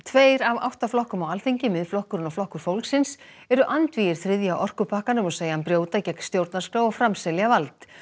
tveir af átta flokkum á Alþingi Miðflokkurinn og Flokkur fólksins eru andvígir þriðja orkupakkanum og segja hann brjóta gegn stjórnarskrá og framselja vald